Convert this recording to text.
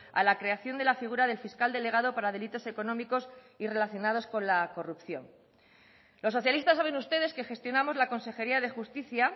a la creación de la figura del fiscal delegado para delitos económicos y relacionados con la corrupción los socialistas saben ustedes que gestionamos la consejería de justicia